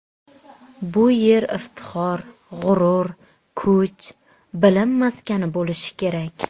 Bu yer iftixor, g‘urur, kuch, bilim maskani bo‘lishi kerak.